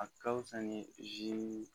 A ka wusa ni zi